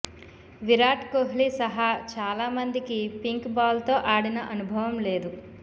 విరాట్ కోహ్లీ సహా చాలా మందికి పింక్ బాల్తో ఆడిన అనుభవం లేదు